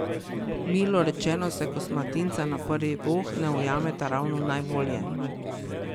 Milo rečeno se kosmatinca na prvi voh ne ujameta ravno najbolje ...